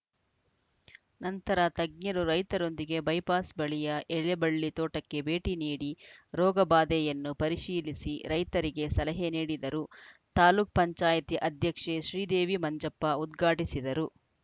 ನಂತರ ತಜ್ಞರು ರೈತರೊಂದಿಗೆ ಬೈಪಾಸ್‌ ಬಳಿಯ ಎಲೆಬಳ್ಳಿ ತೋಟಕ್ಕೆ ಭೇಟಿ ನೀಡಿ ರೋಗಬಾಧೆಯನ್ನು ಪರಿಶೀಲಿಸಿ ರೈತರಿಗೆ ಸಲಹೆ ನೀಡಿದರು ತಾಲೂಕ್ ಪಂಚಾಯತ್ ಅಧ್ಯಕ್ಷೆ ಶ್ರೀದೇವಿ ಮಂಜಪ್ಪ ಉದ್ಘಾಟಿಸಿದರು